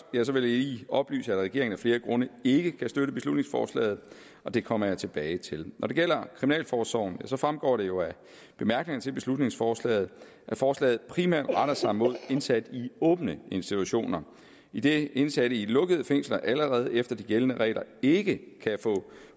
lige oplyse at regeringen af flere grunde ikke kan støtte beslutningsforslaget det kommer jeg tilbage til når det gælder kriminalforsorgen så fremgår det jo af bemærkningerne til beslutningsforslaget at forslaget primært retter sig mod indsatte i åbne institutioner idet indsatte i lukkede fængsler allerede efter de gældende regler ikke kan få